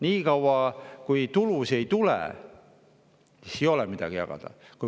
Nii kaua, kui tulusid ei tule, ei ole midagi jagada.